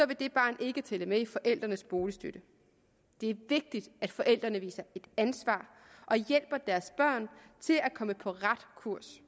vil dette barn ikke tælle med i forældrenes boligstøtte det er vigtigt at forældrene viser ansvar og hjælper deres børn til at komme på ret kurs